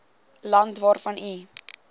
land waarvan u